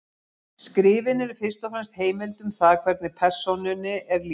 Skrifin eru fyrst og fremst heimild um það hvernig persónunni er lýst.